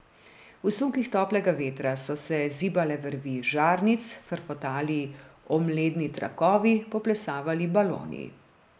V sunkih toplega vetra so se zibale vrvi žarnic, frfotali omledni trakovi, poplesavali baloni.